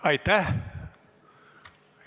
Aitäh!